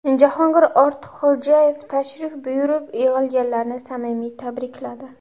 Jahongir Ortiqxo‘jayev tashrif buyurib, yig‘ilganlarni samimiy tabrikladi.